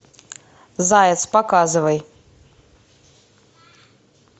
заяц показывай